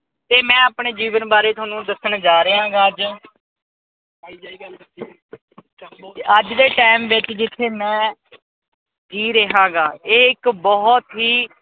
ਤੇ ਮੈਂ ਆਪਣੇ ਜੀਵਨ ਬਾਰੇ ਥੋਨੂੰ ਦੱਸਣ ਜਾ ਰਿਹਾਗਾ ਅੱਜ। ਅੱਜ ਦੇ ਟੈਮ ਵਿਚ ਜਿਥੇ ਮੈਂ ਜੀ ਰਿਹਾਗਾ ਇਹ ਇੱਕ ਬਹੁਤ ਹੀ